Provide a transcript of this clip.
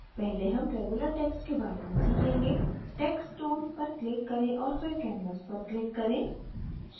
पहले हम regular text के बारे में सीखेंगे text tool पर click करें और फिर canvas पर click करें